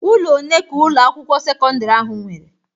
Ụlọ one ka Ụlọ akwụkwọ sekọndrị ahụ nwere?